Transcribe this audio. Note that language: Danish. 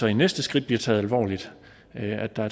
det næste skridt bliver taget alvorligt at der